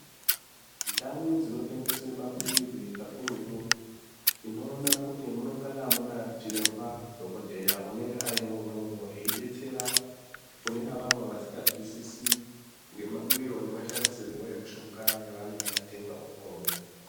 Ndau dzinotengeswa mapirizi kakurutu tinoona kuti munenge Muna chiremba dhokoteya anenge arimwo imwomwo eidetsera Kuna avavo vasinganzwisisi nemamwiro nemashandisirwo emishonga yavanenge vatenga imwomwo.